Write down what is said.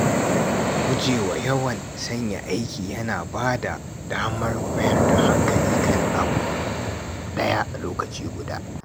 Gujewa yawan sauya aiki yana ba da damar mayar da hankali kan abu ɗaya a lokaci guda.